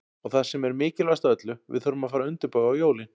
Og það sem er mikilvægast af öllu, við þurfum að fara að undirbúa jólin.